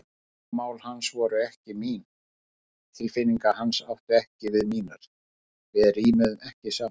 Áhugamál hans voru ekki mín, tilfinningar hans áttu ekki við mínar, við rímuðum ekki saman.